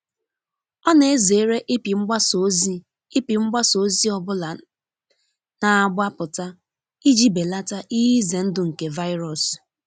ọ na ezere ịpị mgbasa ozị ịpị mgbasa ozị ọbụla na-agba pụta iji belata ihe ize ndu nke virus